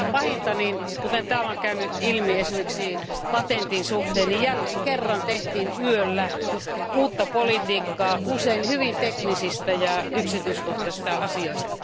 Mikä pahinta kuten täällä on käynyt ilmi esimerkiksi patentin suhteen jälleen kerran tehtiin yöllä uutta politiikkaa usein hyvin teknisistä ja yksityiskohtaisista asioista.